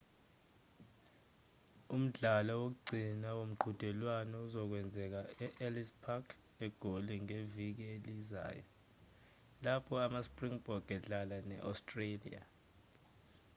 umdlalo wokugcina womqhudelwano uzokwenzeka e-ellis park egoli ngeviki elizayo lapho ama-springbok edlala ne-australia